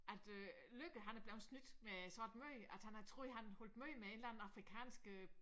At øh Løkke han er blevet snydt med sådan et møde han har troet han holdt møde med en eller anden afrikansk øh